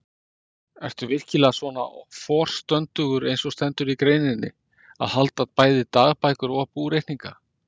Ertu virkilega svona forstöndugur eins og stendur í greininni, að halda bæði dagbækur og búreikninga?